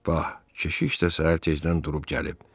Bax, keşiş də səhər tezdən durub gəlib.